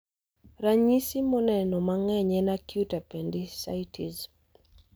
Ranyisi moneno mang'eny en acute appendicitis